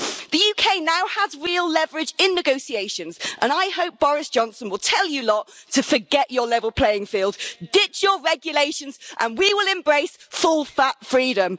The UK now has real leverage in negotiations, and I hope Boris Johnson will tell you lot to forget your level playing field, ditch your regulations, and we will embrace full fat freedom.